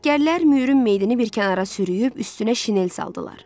Əsgərlər Müürün meydəni bir kənara sürüyüb, üstünə şinel saldılar.